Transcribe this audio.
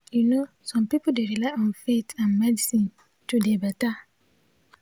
you no some pipul dey rely on faith and medicine to dey beta.